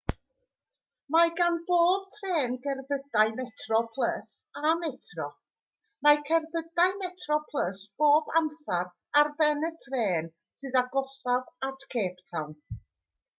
mae gan bob trên gerbydau metroplus a metro mae cerbydau metroplus bob amser ar ben y trên sydd agosaf at cape town